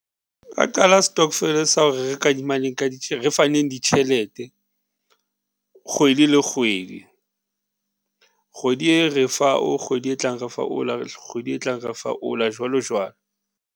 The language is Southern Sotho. Nka qala stokvel sa hore re kadimane ka di re fa neng ditjhelete kgwedi le kgwedi, kgwedi e re fa o, kgwedi e tlang re fa o la, kgwedi e tlang re fa o la, jwalo jwalo.